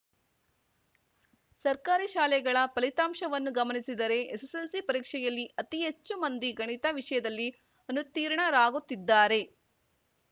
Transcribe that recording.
ಸರ್ಕಾರಿ ಶಾಲೆಗಳ ಫಲಿತಾಂಶವನ್ನು ಗಮನಿಸಿದರೆ ಎಸ್ಸೆಸ್ಸೆಲ್ಸಿ ಪರೀಕ್ಷೆಯಲ್ಲಿ ಅತಿ ಹೆಚ್ಚು ಮಂದಿ ಗಣಿತ ವಿಷಯದಲ್ಲಿ ಅನುತ್ತೀರ್ಣರಾಗುತ್ತಿದ್ದಾರೆ